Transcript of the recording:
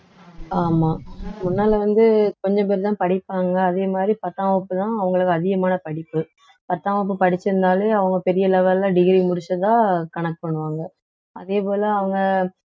ஆமா முன்னால வந்து கொஞ்சம் பேருதான் படிப்பாங்க அதே மாதிரி பத்தாம் வகுப்புதான் அவங்களுக்கு அதிகமான படிப்பு பத்தாம் வகுப்பு படிச்சிருந்தாலே அவங்க பெரிய level ல degree முடிச்சதா கணக்கு பண்ணுவாங்க அதே போல அவங்க